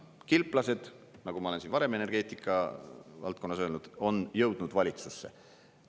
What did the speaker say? Kilplased, nagu ma olen siin varem energeetika valdkonnas öelnud, on jõudnud valitsusse.